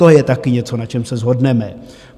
To je taky něco, na čem se shodneme.